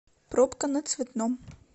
пробка на цветном